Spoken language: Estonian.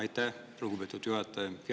Aitäh, lugupeetud juhataja!